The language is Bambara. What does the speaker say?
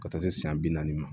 Ka taa se san bi naani ma